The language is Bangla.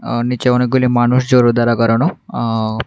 আ নিচে অনেকগুলি মানুষ জড়ো দাঁড়া করানো আ।